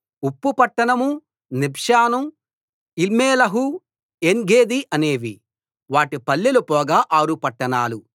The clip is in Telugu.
ఉప్పు పట్టణం నిబ్షాను ఈల్మెలహు ఏన్గెదీ అనేవి వాటి పల్లెలు పోగా ఆరు పట్టణాలు